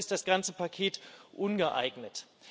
Deshalb ist das ganze Paket ungeeignet.